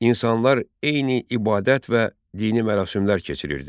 İnsanlar eyni ibadət və dini mərasimlər keçirirdi.